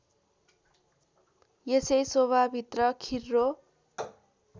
यसै शोभाभित्र खिर्रो